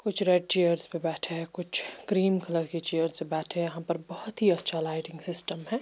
कुछ red chairs पे बैठे है कुछ ग्रीन कलर के चेयर्स पे बैठे है यहाँ पर बहुत ही अच्छा लाइटिंग सिस्टम है।